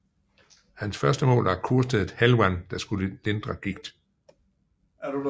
Hans første mål var kurstedet Helwan der skulle lindre gigt